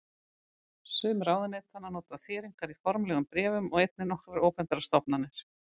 Sum ráðuneytanna nota þéringar í formlegum bréfum og einnig nokkrar opinberar stofnanir.